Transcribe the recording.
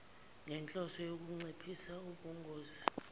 ngenhloso yokunciphisa ubungozi